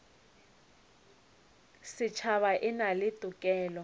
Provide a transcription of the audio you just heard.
setšhaba e na le tokelo